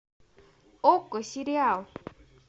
окко сериал